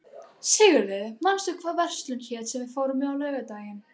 Sigurliði, manstu hvað verslunin hét sem við fórum í á laugardaginn?